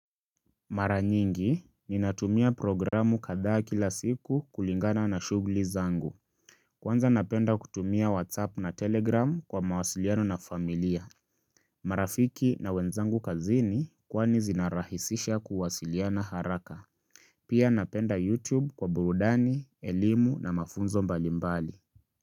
Mara nyingi, ninatumia programu katha kila siku kulingana na shuguli zangu Kwanza napenda kutumia whatsapp na telegram kwa mawasiliano na familia marafiki na wenzangu kazini kwani zinarahisisha kuwasiliana haraka Pia napenda youtube kwa burudani, elimu na mafunzo mbalimbali.